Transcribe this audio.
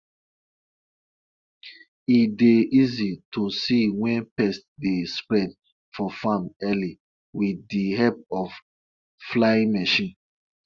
na two white goats the chief bring come village square which he wan use take do ritual to purify our our land.